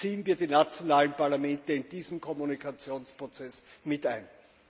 Beziehen wir die nationalen Parlamente in diesen Kommunikationsprozess mit ein!